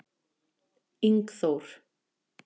Ingþór